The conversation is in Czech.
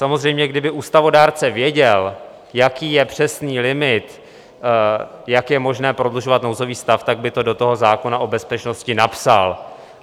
Samozřejmě kdyby ústavodárce věděl, jaký je přesný limit, jak je možné prodlužovat nouzový stav, tak by to do toho zákona o bezpečnosti napsal.